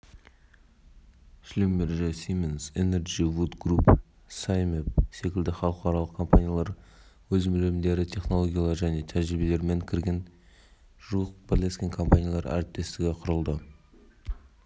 ерсай және каспиан оффшор марин констракшн ауыр тонналы металл құрастырылымын шығару бойынша зауыттар салынды баутин портында кеме жөндейтін зауыты салынды